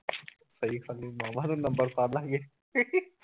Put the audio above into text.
ਸਹੀ ਗੱਲ ਈ ਮਾਮਾ ਤੂੰ ਨੰਬਰ ਫਰਲਾ ਕਿਸੇ